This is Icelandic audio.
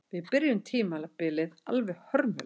Við byrjuðum tímabilið alveg hörmulega